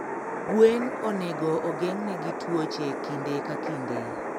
gwen onego ogeng ne gi tuoche kinde ka kinde